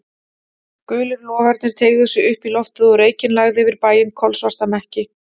Gulir logarnir teygðu sig upp í loftið og reykinn lagði yfir bæinn, kolsvarta mekki.